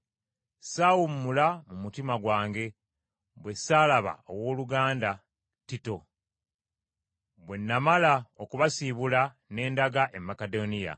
saawumula mu mutima gwange, bwe ssaalaba owooluganda Tito. Bwe namala okubasiibula ne ndaga e Makedoniya.